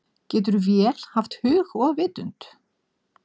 Getur vél haft hug og vitund?